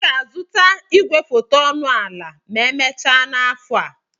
M ga-azụta igwefoto ọnụ ala ma emechaa afọ a.